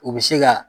U bɛ se ka